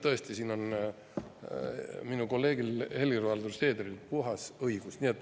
Tõesti, selles on minu kolleegil Helir-Valdor Seederil õigus.